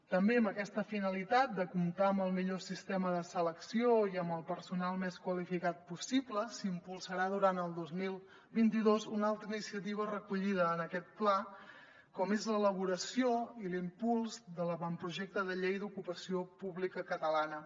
també amb aquesta finalitat de comptar amb el millor sistema de selecció i amb el personal més qualificat possible s’impulsarà durant el dos mil vint dos una altra iniciativa recollida en aquest pla com és l’elaboració i l’impuls de l’avantprojecte de llei d’ocupació pública catalana